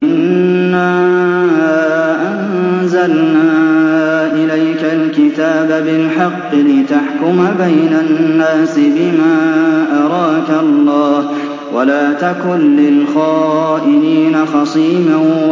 إِنَّا أَنزَلْنَا إِلَيْكَ الْكِتَابَ بِالْحَقِّ لِتَحْكُمَ بَيْنَ النَّاسِ بِمَا أَرَاكَ اللَّهُ ۚ وَلَا تَكُن لِّلْخَائِنِينَ خَصِيمًا